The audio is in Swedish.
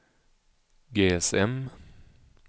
GSM